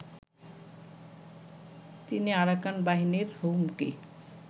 তিনি আরাকান বাহিনীর হুমকি